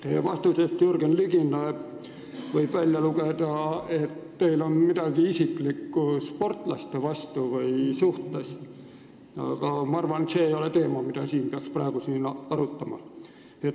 Teie vastusest Jürgen Ligile võis välja lugeda, et teil on midagi isiklikku sportlaste vastu, aga ma arvan, et see ei ole teema, mida peaks siin praegu arutama.